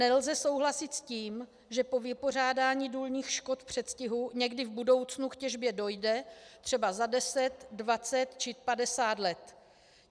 Nelze souhlasit s tím, že po vypořádání důlních škod v předstihu někdy v budoucnu k těžbě dojde, třeba za 10, 20 či 50 let.